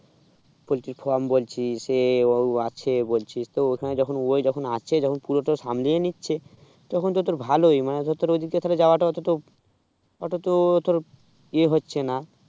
poultry frame বলছিস এও আছে বলছিস তো ওখানে যখন ও সে তখন পুরোটা সামলিয়ে নিচ্ছে তখন তো তোর তো ভালোই মানে তোর ওই দিকে যাওয়াটাও অতটা অত তো তোর ইয়ে হচ্ছে না